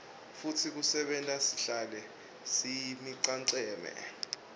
futsi kusenta sihlale siyimicemane